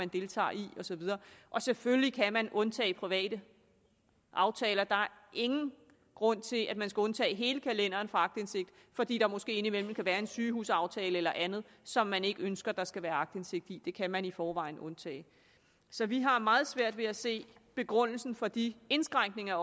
deltager i og så videre og selvfølgelig kan man undtage private aftaler der er ingen grund til at man skal undtage hele kalenderen fra aktindsigt fordi der måske indimellem kan være en sygehusaftale eller andet som man ikke ønsker der skal være aktindsigt i det kan man i forvejen undtage så vi har meget svært ved at se begrundelsen for de indskrænkninger af